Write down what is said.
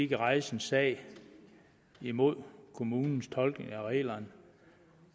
kan rejse en sag imod kommunens tolkning af reglerne